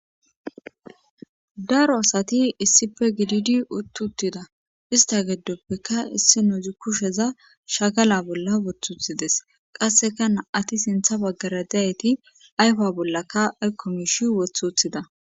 daro asati issife gididi uttuttida ista geddoppeka issi nouzu kusheza shagala bolla wothuthides qasseka na7ati sintha baggara dayyti ayfa bollakka aykkomishi wothuthida